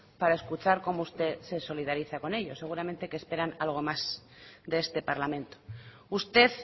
para escuchar cómo usted se solidariza con ellos seguramente que esperan algo más de este parlamento usted